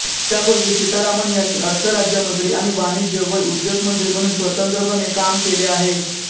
त्यापूर्वी सीतारामन् यांनी अर्थ राज्यमंत्री आणि वाणिज्य व उद्योग मंत्री म्हणून स्वतंत्रपणे काम केले आहे